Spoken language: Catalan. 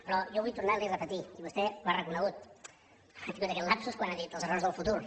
però jo vull tornar li a repetir i vostè ho ha reconegut ha tingut aquest lapsus quan ha dit els errors del futur